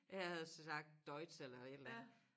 Jeg havde jo så sagt Deutsch eller et eller andet